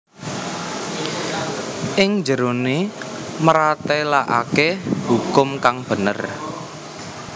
Ing jerone mratelakake hukum kang bener